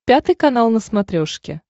пятый канал на смотрешке